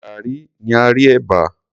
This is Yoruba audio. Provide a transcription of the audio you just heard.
Gaàrí ni a rí ẹ̀bà.